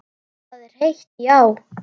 Það er heitt, já.